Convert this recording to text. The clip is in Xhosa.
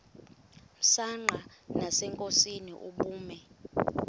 msanqa nasenkosini ubume